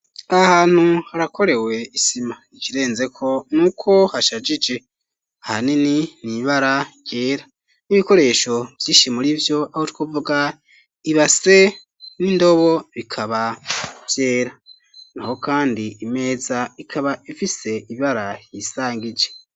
Ahantu harakorewe isima ikirenzeko nuko hashagije hanini n'ibara ryera n'ibikoresho vyishi murivyo aho twovuga ibase n'indobo bikaba vyera naho kandi imeza ikaba ifise ibara ryisangije.